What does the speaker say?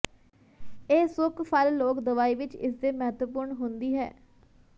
ਇਹ ਸੁੱਕ ਫਲ ਲੋਕ ਦਵਾਈ ਵਿੱਚ ਇਸ ਦੇ ਮਹੱਤਵਪੂਰਨ ਹੁੰਦੀ ਹੈ